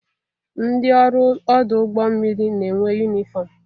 Ndị ọrụ ọdụ ụgbọ mmiri na-enwe yunifọm.